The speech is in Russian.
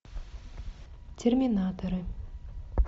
терминаторы